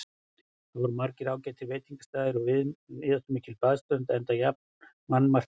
Þar voru margir ágætir veitingastaðir og víðáttumikil baðströnd, enda jafnan mannmargt þar.